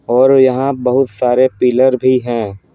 और यहाँ बहुत सारे पिलर भी हैं।